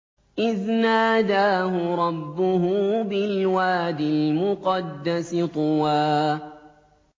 إِذْ نَادَاهُ رَبُّهُ بِالْوَادِ الْمُقَدَّسِ طُوًى